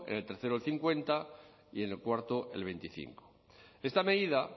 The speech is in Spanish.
en el tercero el cincuenta y en el cuarto el veinticinco esta medida